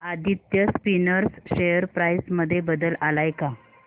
Aditya spinners share price मध्ये बदल आलाय का